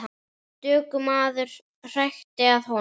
Stöku maður hrækti að honum.